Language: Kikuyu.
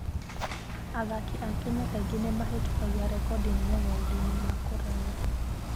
Athaki a Kenya kaingĩ nĩ mahĩtũkagia rekondi nene maũndũ-inĩ ma kũraya.